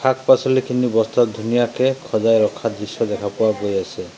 শাক পাচলিখিনি বস্তাত ধুনীয়াকে সজাই ৰখাৰ দৃশ্য দেখা পোৱা গৈ আছে।